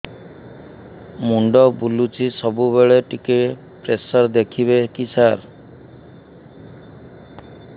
ମୁଣ୍ଡ ବୁଲୁଚି ସବୁବେଳେ ଟିକେ ପ୍ରେସର ଦେଖିବେ କି ସାର